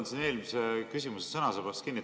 Ma võtan eelmise küsimuse sõnasabast kinni.